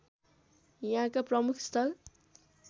यहाँका प्रमुख स्थल